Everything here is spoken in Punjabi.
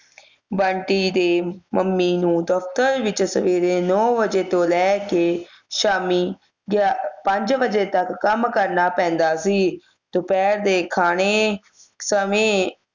ਬੰਟੀ ਦੇ ਮੰਮੀ ਨੂੰ ਦਫ਼ਤਰ ਵਿਚ ਸਵੇਰੇ ਨੌ ਵਜੇ ਤੋਂ ਲੈ ਕੇ ਸ਼ਾਮੀ ਗਿਆਪੰਜ ਵਜੇ ਤੱਕ ਕੰਮ ਕਰਨਾ ਪੈਂਦਾ ਸੀ ਦੁਪਹਿਰ ਦੇ ਖਾਣੇ ਸਮੇਂ